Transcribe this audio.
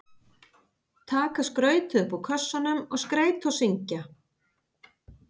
Taka skrautið upp úr kössunum og skreyta og syngja.